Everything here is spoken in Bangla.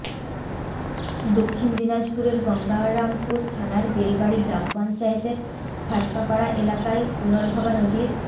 দক্ষিণ দিনাজপুরের গঙ্গারামপুর থানার বেলবাড়ি গ্রাম পঞ্চায়েতের ফাটকাপাড়া এলাকায় পুনর্ভবা নদীর